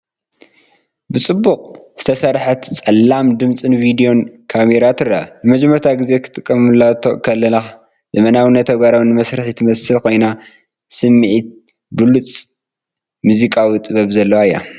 ብጽቡቕ ዝተሰርሐት ጸላም ድምጽን ቪድዮን ካሜራ ትርአ። ንመጀመርታ ግዜ ክትጥምቶ ከለኻ ዘመናውን ተግባራውን መሳርሒ ትመስል ኮይና ስምዒትብሉጽን ሙዚቃዊ ጥበብን ዘለዋ እያ።